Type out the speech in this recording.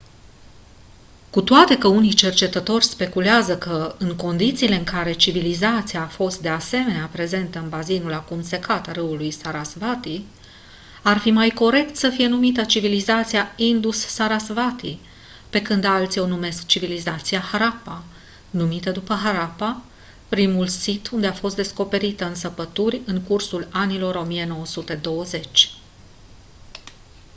cu toate că unii cercetători speculează că în condițiile în care civilizația a fost de asemenea prezentă în bazinul acum secat al râului sarasvati ar fi mai corect să fie numită civilizația indus-sarasvati pe când alții o numesc civilizația harappa numită după harappa primul sit unde a fost descoperită în săpături în cursul anilor 1920